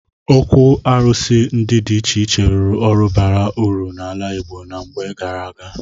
Ókwù árụ̀sị ndị dị iche iche rụrụ ọrụ baara uru n'ala Igbo na mgbe gaara aga.